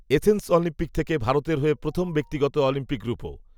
Athens Olympic থেকে ভারতের হয়ে প্রথম ব্যক্তিগত অলিম্পিক রুপো